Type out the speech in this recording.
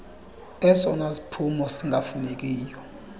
esona siphumo singafunekiyo